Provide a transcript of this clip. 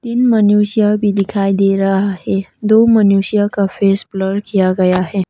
मनुष्य भी दिखाई दे रहा है दो मनुष्य का फेस ब्लूर किया गया है।